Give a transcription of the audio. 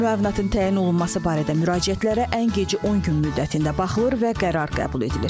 Müavinətin təyin olunması barədə müraciətlərə ən gecə 10 gün müddətində baxılır və qərar qəbul edilir.